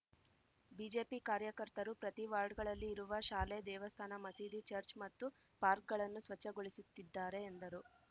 BJP ಕಾರ್ಯಕರ್ತರು ಪ್ರತಿ ವಾರ್ಡ್‌ಗಳಲ್ಲಿ ಇರುವ ಶಾಲೆ ದೇವಸ್ಥಾನ ಮಸೀದಿ ಚರ್ಚ್ ಮತ್ತು ಪಾರ್ಕ್ಗಳನ್ನು ಸ್ವಚ್ಛಗೊಳಿಸುತ್ತಿದ್ದಾರೆ ಎಂದರು